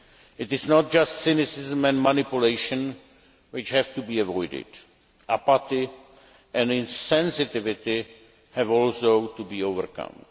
It is not just cynicism and manipulation which have to be avoided apathy and insensitivity have also to be overcome.